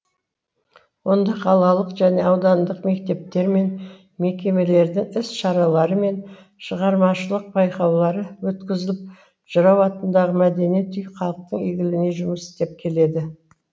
онда қалалық және аудандық мектептер мен мекемелердің іс шаралары мен шығармашылық байқаулары өткізіліп жырау атындағы мәдениет үйі халықтың игілігіне жұмыс істеп келеді